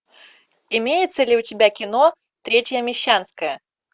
имеется ли у тебя кино третья мещанская